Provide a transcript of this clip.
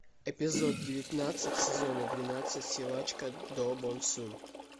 эпизод девятнадцать сезона двенадцать силачка до бон сун